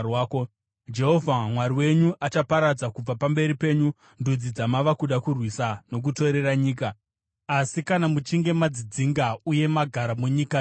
Jehovha Mwari wenyu achaparadza kubva pamberi penyu ndudzi dzamava kuda kurwisa nokutorera nyika. Asi kana muchinge madzidzinga uye magara munyika yavo,